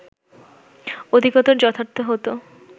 অধিকতর যথার্থ হতো